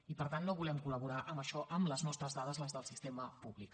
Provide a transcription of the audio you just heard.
i per tant no volem col·laborar en això amb les nostres dades les del sistema públic